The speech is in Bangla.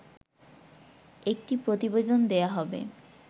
একটি প্রতিবেদন দেয়া হবে